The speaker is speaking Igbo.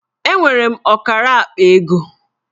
Enwere m ọkara akpa ego